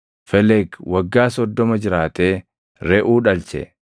Felegi waggaa 30 jiraatee Reʼuu dhalche.